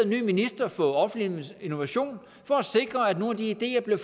ny minister for offentlig innovation for at sikre at nogle af de ideer bliver